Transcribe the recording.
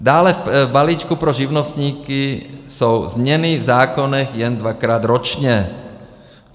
Dále v balíčku pro živnostníky jsou změny v zákonech jen dvakrát ročně.